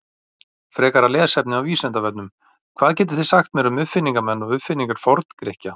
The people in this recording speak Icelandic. Frekara lesefni af Vísindavefnum: Hvað getið þið sagt mér um uppfinningamenn og uppfinningar Forngrikkja?